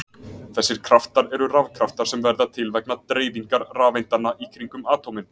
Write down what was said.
Þessir kraftar eru rafkraftar sem verða til vegna dreifingar rafeindanna í kringum atómin.